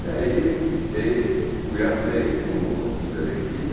E aí fui aceito no no pela equipe.